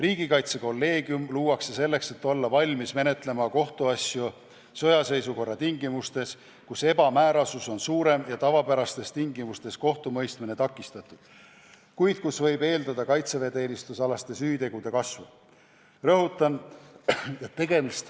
Riigikaitsekolleegium luuakse selleks, et olla valmis menetlema kohtuasju sõjaseisukorra tingimustes, kui ebamäärasus on suurem, tavapärane kohtumõistmine takistatud ja võib eeldada kaitseväeteenistusalaste süütegude kasvu.